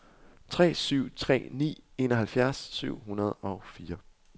tre syv tre ni enoghalvfjerds syv hundrede og fire